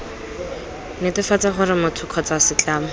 netefatsa gore motho kgotsa setlamo